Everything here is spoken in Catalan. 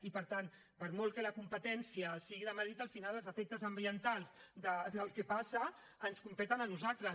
i per tant per molt que la competència sigui de madrid al final els efectes ambientals del que passa ens competeixen a nosaltres